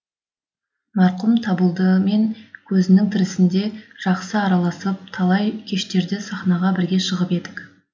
марқұм табылдымен көзінің тірісінде жақсы араласып талай кештерде сахнаға бірге шығып едік